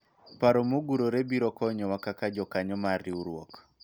paro mogurore biro konyowa kaka jokanyo mar riwruok